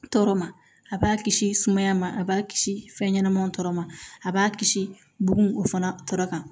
Tɔɔrɔ ma a b'a kisi sumaya ma a b'a kisi fɛn ɲɛnɛma tɔɔrɔ ma a b'a kisi bugun o fana tɔɔrɔ kan